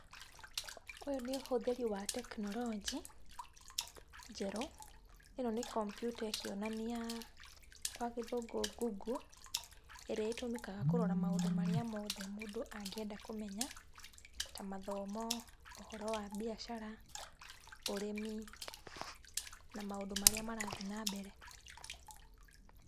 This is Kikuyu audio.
Ũyũ nĩ ũhũthĩri wa tekinoronjĩ njerũ, ĩno nĩ computer ĩkĩonania gwa gĩthũngũ google ĩrĩa ĩtũmĩkaga kũrora maũndũ marĩa mothe mũndũ angĩenda kũmenya ta mathomo, ũhoro wa mbiacara, ũrĩmi na maũndũ marĩa marathiĩ na mbere.